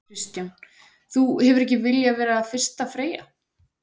Kristján: Þú hefur ekki viljað vera fyrsta freyja?